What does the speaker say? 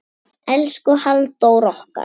Elsku Halldór okkar.